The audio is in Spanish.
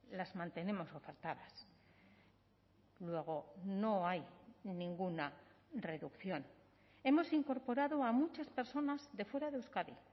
las mantenemos ofertadas luego no hay ninguna reducción hemos incorporado a muchas personas de fuera de euskadi